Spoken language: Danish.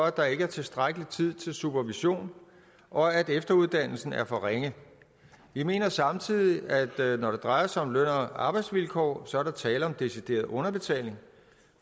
at der ikke er tilstrækkelig tid til supervision og at efteruddannelsen er for ringe vi mener samtidig at når det drejer sig om løn og arbejdsvilkår er der tale om decideret underbetaling